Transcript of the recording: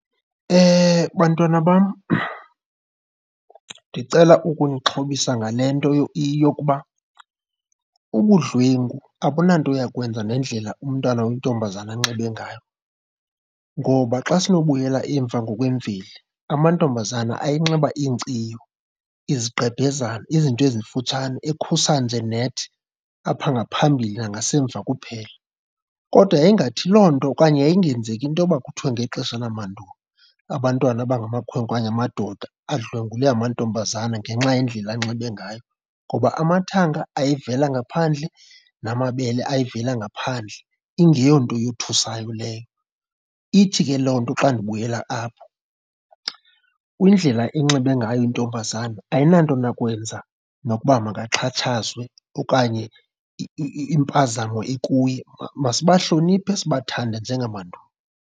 Bantwana bam, ndicela ukunixhobisa ngale nto yokuba ubudlwengu abunanto yakwenza nendlela umntana oyintombazana anxibe ngayo. Ngoba xa sinobuyela emva ngokwemveli, amantombazana ayenxiba iinkciyo, izigqebhezana, izinto ezimfutshane ekhusa nje nethi apha ngaphambili nangasemva kuphela. Kodwa yayingathi loo nto okanye yayingenzeki into yoba kuthiwe ngexesha lamandulo abantwana abangamakhwenkwe okanye amadoda adlwengule amantombazana ngenxa yendlela anxibe ngayo. Ngoba amathanga ayevela ngaphandle, namabele ayevela ngaphandle ingeyonto eyothusayo leyo. Ithi ke loo nto xa ndibuyela apho, indlela enxibe ngayo intombazana ayinanto nakwenza nokuba makaxhatshazwe okanye impazamo ikuye. Masibahloniphe sibathande njengamandulo.